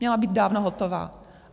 Měla být dávno hotová.